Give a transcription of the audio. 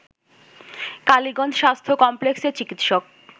কালীগঞ্জ স্বাস্থ্য কমপ্লেক্সের চিকিৎসক